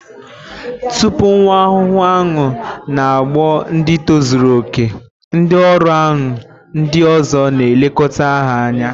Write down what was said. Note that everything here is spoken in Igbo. Tupu nwa ahuhu aṅụ na-aghọ ndị tozuru okè ndị ọrụ aṅụ ndị ọzọ na elekota ha anya